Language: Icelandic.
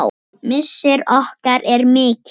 Missir okkar er mikill.